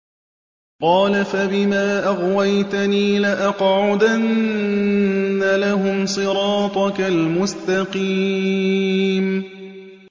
قَالَ فَبِمَا أَغْوَيْتَنِي لَأَقْعُدَنَّ لَهُمْ صِرَاطَكَ الْمُسْتَقِيمَ